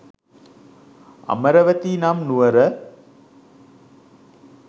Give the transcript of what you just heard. අමරවතී නම් නුවර